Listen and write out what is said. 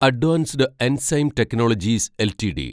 advanced enzyme technologies LTD